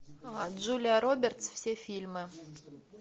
джулия робертс все фильмы